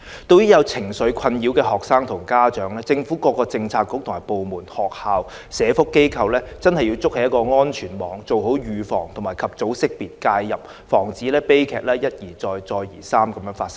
對於有情緒困擾的學生和家長，政府各政策局和部門、學校、社福機構需要築起安全網，做好預防、及早識別、介入，防止悲劇一而再，再而三地發生。